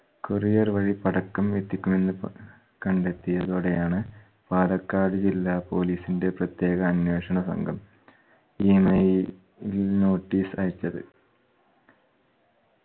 courier വഴി പടക്കം എത്തിക്കുമെന്ന് കണ്ടെത്തിയതോടെയാണ് പാലക്കാട് ജില്ലാ police ന്റെ പ്രത്യേക അന്വേഷണ സംഘം email notice അയച്ചത്